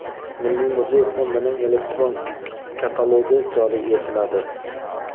Milliy muzey fondining elektron katalogi joriy etiladi.